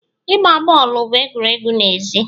Igba boolu bụ egwuregwu n'èzí